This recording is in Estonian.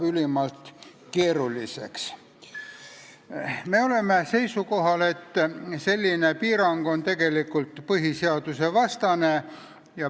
Me oleme seisukohal, et selline piirang on tegelikult põhiseadusvastane.